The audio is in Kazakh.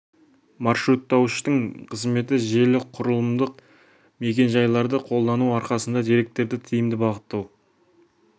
маршруттауыштың қызметі желілік құрылымдық мекен жайларды қолдану арқасында деректерді тиімді бағыттау